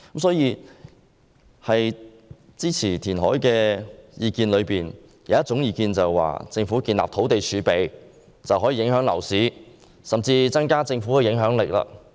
所以，在支持填海的意見當中，有一種意見認為，政府建立土地儲備便可以影響樓市，甚至增加政府的影響力。